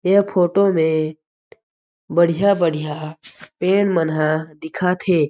यह फोटो में बढ़िया-बढ़िया पेड़ मनह दिखत हे।